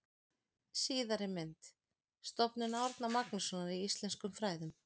Síðari mynd: Stofnun Árna Magnússonar í íslenskum fræðum.